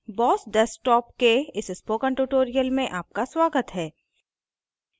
boss desktop के इस spoken tutorial में आपका स्वागत है